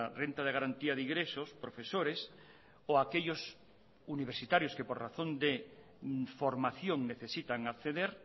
renta de garantía de ingresos profesores o aquellos universitarios que por razón de formación necesitan acceder